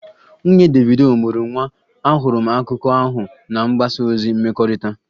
Nwunye Davido mụrụ nwa, ahụrụ m akụkọ ahụ na mgbasa ozi mmekọrịta